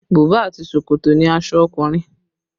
Buba àti ṣòkòtò ni aṣọ ọkùnrin